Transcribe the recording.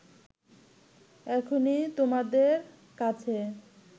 এখনই তোমাদের কাছে